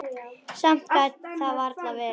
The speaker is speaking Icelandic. Samt gat það varla verið.